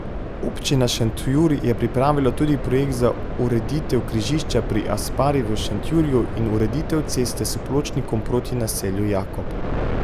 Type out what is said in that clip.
Občina Šentjur je pripravila tudi projekt za ureditev križišča pri Aspari v Šentjurju in ureditev ceste s pločnikom proti naselju Jakob.